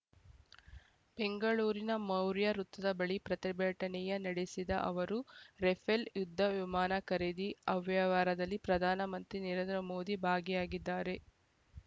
ಬೆಂಗಳೂರಿನ ಮೌರ್ಯ ವೃತ್ತದ ಬಳಿ ಪ್ರತಿಭಟನೆಯ ನಡೆಸಿದ ಅವರು ರೆಫೇಲ್‌ ಯುದ್ಧ ವಿಮಾನ ಖರೀದಿ ಅವ್ಯವಹಾರದಲ್ಲಿ ಪ್ರಧಾನಮಂತ್ರಿ ನರೇಂದ್ರ ಮೋದಿ ಭಾಗಿಯಾಗಿದ್ದಾರೆ